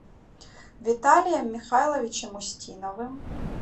виталием михайловичем устиновым